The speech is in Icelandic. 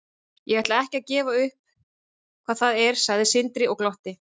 Ég ætla ekkert að gefa upp hvað það er, sagði Sindri og glotti.